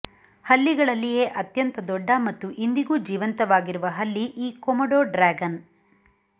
ಹಲ್ಲಿಗಳಲ್ಲಿಯೇ ಅತ್ಯಂತ ದೊಡ್ಡ ಮತ್ತು ಇಂದಿಗೂ ಜೀವಂತವಾಗಿರುವ ಹಲ್ಲಿ ಈ ಕೊಮೊಡೊ ಡ್ರ್ಯಾಗನ್